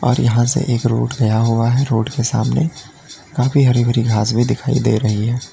और यहां से एक रोड गया हुआ है रोड के सामने काफी हरी भरी घास दिखाई दे रही है।